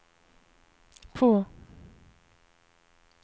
på